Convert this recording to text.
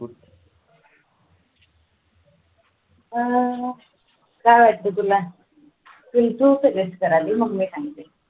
अं काय वाटते तुला? तू suggest कराल मग मी सांगते